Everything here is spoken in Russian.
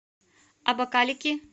абакалики